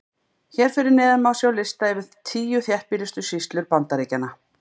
Hér fyrir neðan má sjá lista yfir tíu þéttbýlustu sýslur Bandaríkjanna.